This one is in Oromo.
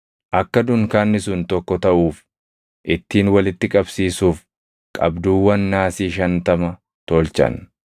Akka dunkaanni sun tokko taʼuuf ittiin walitti qabsiisuuf qabduuwwan naasii shantama tolchan.